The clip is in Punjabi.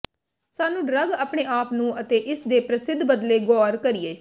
ਸਾਨੂੰ ਡਰੱਗ ਆਪਣੇ ਆਪ ਨੂੰ ਅਤੇ ਇਸ ਦੇ ਪ੍ਰਸਿੱਧ ਬਦਲੇ ਗੌਰ ਕਰੀਏ